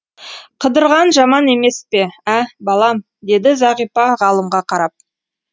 қыдырған жаман емес пе ә балам деді зағипа ғалымға қарап